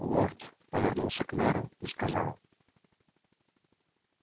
лорд повернулся к мэру и сказал